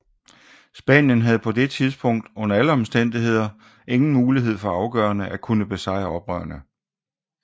Spanien havde på det tidspunkt under alle omstændigheder ingen mulighed for afgørende at kunne besejre oprørerne